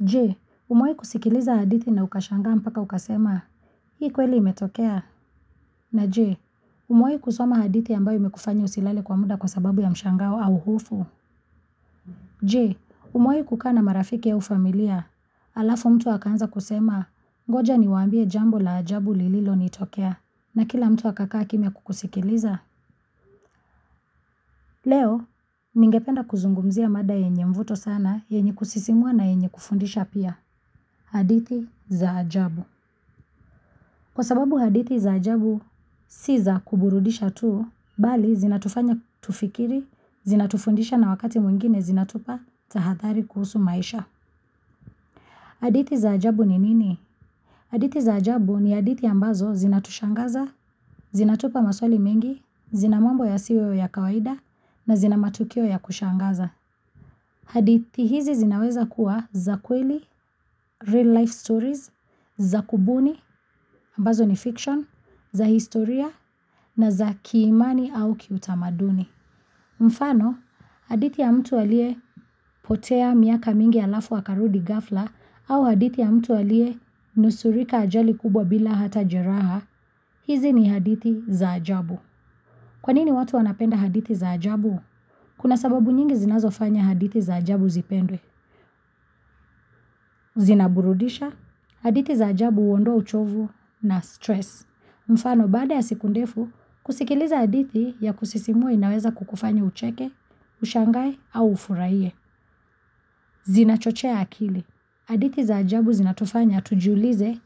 Je, umewahi kusikiliza hadithi na ukashangaa mpaka ukasema, hii kweli imetokea. Na je, umewahi kusoma hadithi ambayo imekufanya usilale kwa muda kwa sababu ya mshangao au hofu. Je, umewahi kukaa na marafiki au familia, alafu mtu akaanza kusema, ngoja niwaambie jambo la ajabu lililonitokea, na kila mtu akakakaa kimya kukusikiliza. Leo, ningependa kuzungumzia mada yenye mvuto sana, yenye kusisimua na yenye kufundisha pia, hadithi za ajabu. Kwa sababu hadithi za ajabu si za kuburudisha tu, bali zinatufanya tufikiri, zinatufundisha na wakati mwingine zinatupa tahadhari kuhusu maisha. Hadithi za ajabu ni nini? Hadithi za ajabu ni hadithi ambazo zinatushangaza, zinatupa maswali mengi, zina mambo yasiyo ya kawaida na zina matukio ya kushangaza. Haditi hizi zinaweza kuwa za kweli, real life stories, za kubuni, ambazo ni fiction, za historia na za kiimani au kiutamaduni. Mfano, hadithi ya mtu aliyepotea miaka mingi alafu akarudi ghafla au hadithi ya mtu aliyenusurika ajali kubwa bila hata jeraha, hizi ni hadithi za ajabu. Kwanini watu wanapenda hadithi za ajabu? Kuna sababu nyingi zinazofanya hadithi za ajabu zipendwe. Zinaburudisha, hadithi za ajabu huondoa uchovu na stress. Mfano, baada ya siku ndefu, kusikiliza hadithi ya kusisimua inaweza kukufanya ucheke, ushangae au ufurahie. Zinachochea akili, hadithi za ajabu zinatufanya tujiulize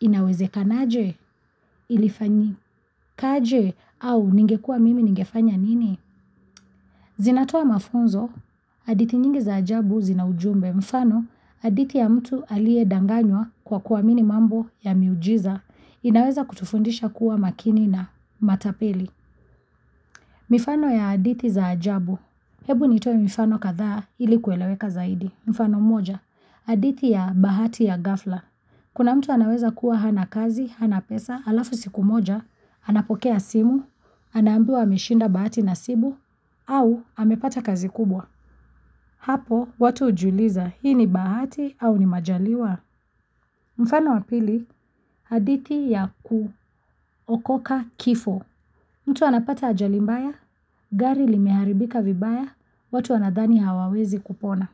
inawezekanaje? Ilifanyikaje? Au ningekuwa mimi ningefanya nini? Zinatoa mafunzo, hadithi nyingi za ajabu zina ujumbe. Mfano, hadithi ya mtu aliyedanganywa kwa kuamini mambo ya miujiza, inaweza kutufundisha kuwa makini na matapeli. Mifano ya hadithi za ajabu. Hebu nitoe mifano kadhaa ili kueleweka zaidi. Mfano mmoja, aditi ya bahati ya gafla. Kuna mtu anaweza kuwa hana kazi, hana pesa, alafu siku moja, anapokea simu anaambiwa ameshinda bahati nasibu, au amepata kazi kubwa. Hapo watu hujiuliza hii ni bahati au ni majaliwa? Mfano wa pili, hadithi ya kuokoka kifo. Mtu anapata ajali mbaya, gari limeharibika vibaya, watu wanadhani hawawezi kupona.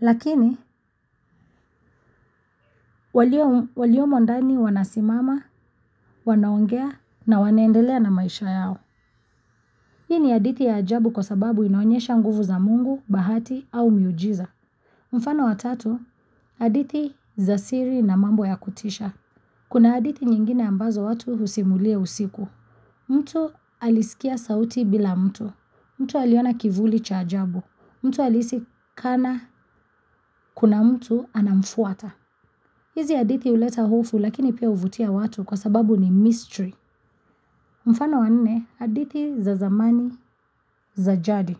Lakini, waliomo ndani wanasimama, wanaongea na wanaendelea na maisha yao. Hii ni hadithi ya ajabu kwa sababu inaonyesha nguvu za Mungu, bahati au miujiza. Mfano wa tatu, hadithi za siri na mambo ya kutisha. Kuna hadithi nyingine ambazo watu husimulia usiku. Mtu alisikia sauti bila mtu. Mtu aliona kivuli cha ajabu. Mtu alihisi kana kuna mtu anamfuata. Hizi hadithi huleta hofu lakini pia huvutia watu kwa sababu ni mystery. Mfano wa nne, hadithi za zamani za jadi.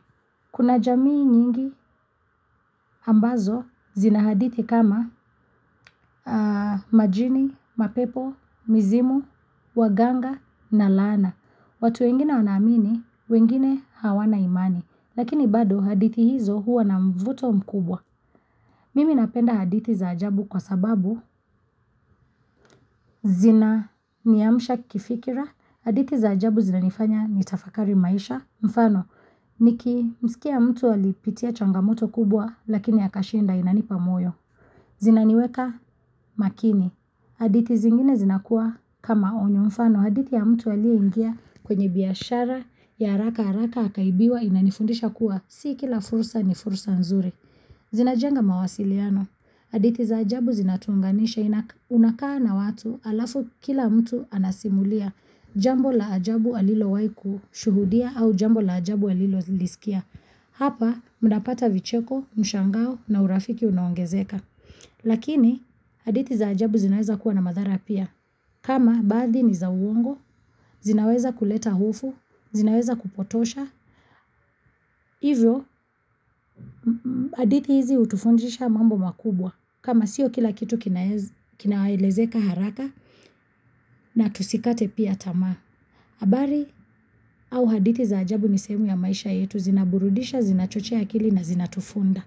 Kuna jamii nyingi ambazo zina hadithi kama majini, mapepo, mizimu, waganga na laana. Watu wengine wanaamini wengine hawana imani, lakini bado hadithi hizo huwa na mvuto mkubwa. Mimi napenda hadithi za ajabu kwa sababu zinaniamsha kifikira, hadithi za ajabu zinanifanya nitafakari maisha. Mfano, nikimsikia mtu alipitia changamoto kubwa lakini akashinda inanipa moyo. Zinaniweka makini. Hadithi zingine zinakuwa kama onyo, mfano hadithi ya mtu aliyeingia kwenye biashara ya haraka haraka akaibiwa inanifundisha kuwa si kila fursa ni fursa nzuri. Zinajenga mawasiliano. Hadithi za ajabu zinatuunganisha, unakaa na watu alafu kila mtu anasimulia jambo la ajabu alilowahi kushuhudia au jambo la ajabu alilolisikia. Hapa mnapata vicheko, mshangao na urafiki unaongezeka. Lakini, hadithi za ajabu zinaweza kuwa na madhara pia. Kama, baadhi ni za uongo, zinaweza kuleta hofu, zinaweza kupotosha. Hivyo, hadithi hizi hutufundisha mambo makubwa. Kama sio kila kitu kinaelezeka haraka na tusikate pia tamaa. Habari au hadithi za ajabu ni sehemu ya maisha yetu zinaburudisha, zinachochea akili na zinatufunza.